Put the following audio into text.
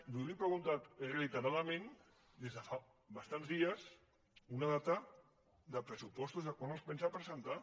jo li he preguntat reiteradament des de fa bastants dies una data de pressupostos de quan els pensa presentar